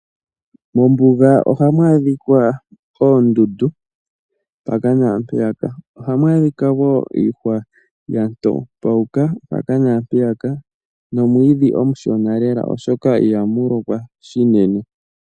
Mombuga ohamu adhika oondundu mpaka nampeyaka ohamu adhika niihwa yatopauka mpaka nampeyaka nomwiidhi omushona lela oshoka ihamu lokwa shinene.